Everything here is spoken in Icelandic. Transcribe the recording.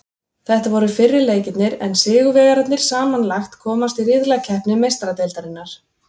Þetta voru fyrri leikirnir en sigurvegararnir samanlagt komast í riðlakeppni Meistaradeildarinnar.